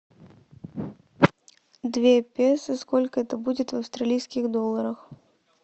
две песо сколько это будет в австралийских долларах